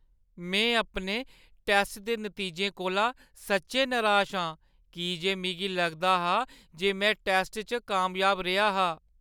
में अपने टैस्ट दे नतीजें कोला सच्चैं नराश आं की जे मिगी लगदा हा जे में टैस्ट च कामयाब रेहा हा।